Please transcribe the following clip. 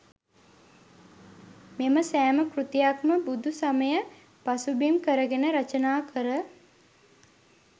මෙම සෑම කෘතියක්ම බුදු සමය පසුබිම් කරගෙන රචනා කර